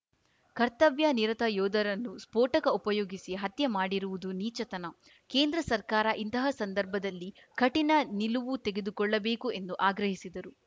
ಕರ್ತವ್ಯನಿರತ ಯೋಧರನ್ನು ಸ್ಫೋಟಕ ಉಪಯೋಗಿಸಿ ಹತ್ಯೆ ಮಾಡಿರುವುದು ನೀಚತನ ಕೇಂದ್ರ ಸರ್ಕಾರ ಇಂತಹ ಸಂದರ್ಭದಲ್ಲಿ ಕಠಿಣ ನಿಲುವು ತೆಗೆದುಕೊಳ್ಳಬೇಕು ಎಂದು ಆಗ್ರಹಿಸಿದರು